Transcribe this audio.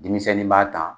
Denmisɛnnin b'a ta